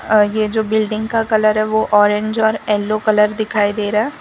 अ ये जो बिल्डिंग का कलर है वो ऑरेंज और येलो कलर दिखाई दे रहा--